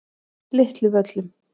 Litlu Völlum